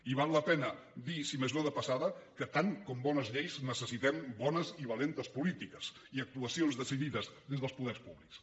i val la pena dir si més no de passada que tant com bones lleis necessitem bones i valentes polítiques i actuacions decidides des dels poders públics